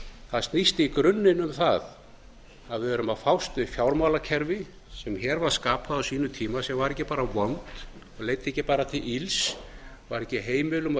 það snýst í grunninn um það að við erum að fást við fjármálakerfi sem hér var skapað á sínum tíma sem var ekki bara vont leiddi ekki bara til ills var ekki heimilum og